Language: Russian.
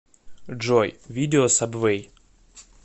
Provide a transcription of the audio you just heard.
джой видео сабвэй